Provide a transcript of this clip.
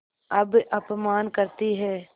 अब अपमान करतीं हैं